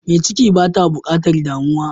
Mai ciki bata bukatar damuwa.